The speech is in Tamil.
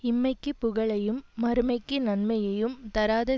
இம்மைக்குப் புகழையும் மறுமைக்கு நன்மையையும் தராத